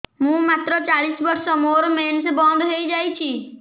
ମୁଁ ମାତ୍ର ଚାଳିଶ ବର୍ଷ ମୋର ମେନ୍ସ ବନ୍ଦ ହେଇଯାଇଛି